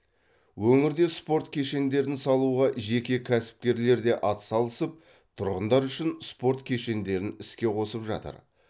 өңірде спорт кешендерін салуға жеке кәсіпкерлер де атсалысып тұрғындар үшін спорт кешендерін іске қосып жатыр